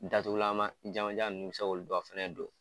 Datugulanma jamanjan ninnu i bɛ se k'olu fana don.